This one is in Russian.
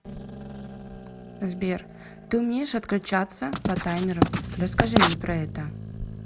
сбер ты умеешь отключаться по таймеру расскажи мне про это